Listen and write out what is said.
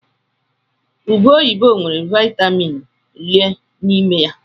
Ụbe oyibo nwere Vaịtamin Ii n'ime ya.